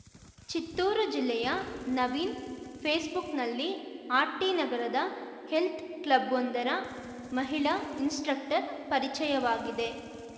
ಚಿತ್ತೂರು ಜಿಲ್ಲೆಯ ನವೀನ್‌ ಫೇಸ್‌ಬುಕ್‌ನಲ್ಲಿ ಆರ್‌ಟಿನಗರದ ಹೆಲ್ತ್‌ ಕ್ಲಬ್‌ವೊಂದರ ಮಹಿಳಾ ಇನ್ಸ್‌ಸ್ಟ್ರಕ್ಟರ್‌ ಪರಿಚಯವಾಗಿದೆ